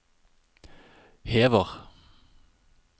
hever